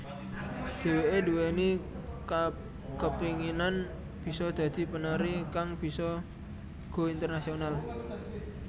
Dheweké nduweni kepinginan bisa dadi penari kang bisa go internasional